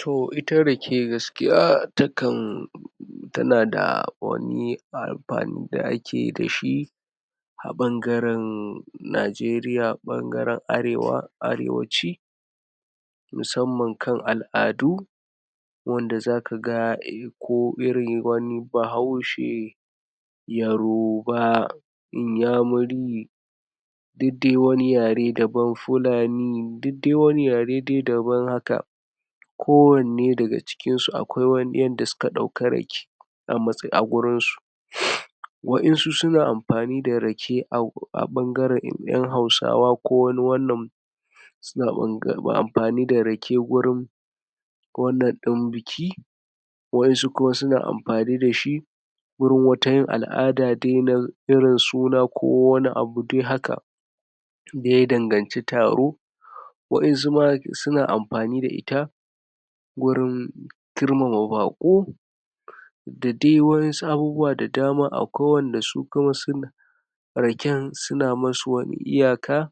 To, ita rake gaskiya ta kan tana da wani amfani da akeyi dashi, a ɓangaren Najeriya, ɓangaren arewa arewaci, musamman kan al'adu, wanda zaka ga irin wani bahaushe, yaroba, inyamuri, duk dai wani yare daban, fulani, duk dai wani yare dai daban haka, ko wanne daga cikin su akwai yanda suka ɗauki rake, a gurin su. Wa'insu suna amfani da rake, a ɓangaren ƴan hausawa ko wani wannan, suna amfani da rake gurum wannan ɗin biki, wa'insu kuma suna amfani dashi gurin wata yin al'ada dai, na irin suna, ko wani abu dai haka, da ya danganci taro. Wa'insu ma suna amfani da ita, gurin girmama baƙo, da dai wa'insu abubuwa da dama, akwai wanda su kuma suna raken, suna masu wani iyaka,